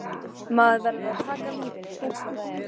Maður verður að taka lífinu eins og það er.